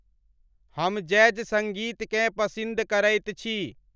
हम जैज़ संगीतकें पसिंद करइत छि ।